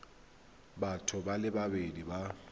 batho ba le babedi ba